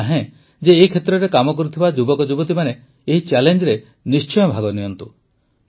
ମୁଁ ଚାହେଁ ଯେ ଏ କ୍ଷେତ୍ରରେ କାମ କରୁଥିବା ଯୁବକଯୁବତୀମାନେ ଏହି ଚ୍ୟାଲେଞ୍ଜରେ ନିଶ୍ଚୟ ଭାଗ ନିଅନ୍ତୁ